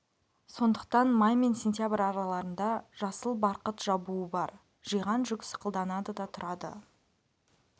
сондықтан май мен сентябрь араларында жасыл барқыт жабуы бар жиған жүк сықылданады да тұрады